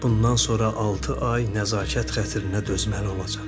Bundan sonra altı ay nəzakət xatirinə dözməli olacaq.